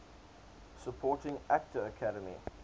supporting actor academy